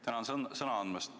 Tänan sõna andmast!